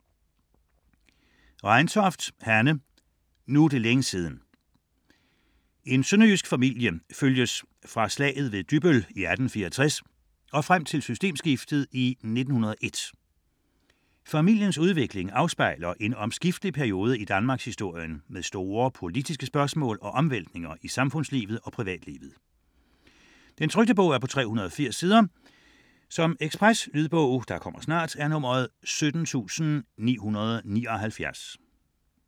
Reintoft, Hanne: Nu er det længe siden En sønderjysk familie følges fra slaget ved Dybbøl i 1864 og frem til systemskiftet i 1901. Familiens udvikling afspejler en omskiftelig periode i Danmarkshistorien med store politiske spørgsmål og omvæltninger i samfundslivet og privatlivet. 2008, 380 sider. Lydbog 17979 Ekspresbog